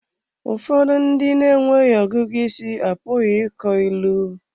Ụfọdụ ndị na-enweghị ọgụgụ isi apụghị ịkọ ilu.